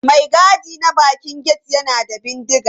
Mai gadi na bakin gate yana da bindiga.